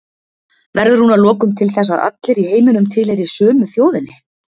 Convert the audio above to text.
Verður hún að lokum til þess að allir í heiminum tilheyri sömu þjóðinni?